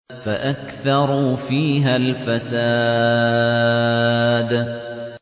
فَأَكْثَرُوا فِيهَا الْفَسَادَ